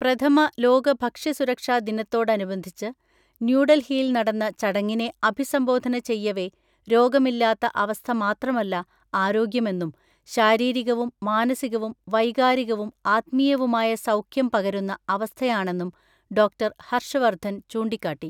പ്രഥമലോക ഭക്ഷ്യ സുരക്ഷാ ദിനത്തോടനുബന്ധിച്ച് ന്യൂഡല്ഹിയില് നടന്ന ചടങ്ങിനെ അഭിസംബോധന ചെയ്യവെരോഗമില്ലാത്ത അവസ്ഥ മാത്രമല്ല ആരോഗ്യമെന്നും ശാരീരികവും മാനസികവും വൈകാരികവും ആത്മീയവുമായ സൗഖ്യം പകരുന്ന അവസ്ഥയാണെന്നും ഡോക്ടർ ഹര്‍ഷ് വര്‍ദ്ധന്‍ ചൂണ്ടിക്കാട്ടി.